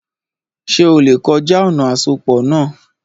Ṣé o lè kọjá ọ̀nà àsopọ̀ náà?